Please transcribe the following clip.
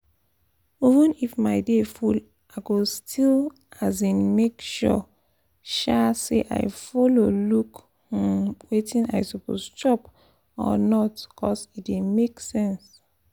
even if my day full i go still um make sure um say i follow look um wetin i suppose chop or not cos e dey make sense